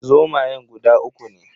Zomayan guda uku ne